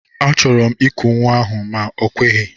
Achọrọ m iku nwa ahụ ma o kweghi.